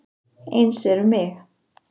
Eins er um mig.